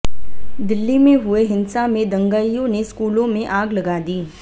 दिल्ली में हुए हिंसा में दंगाईयों ने स्कूलों में आग लगा दी